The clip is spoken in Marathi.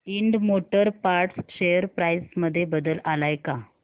Ind motor parts share price मध्ये बदल आलाय का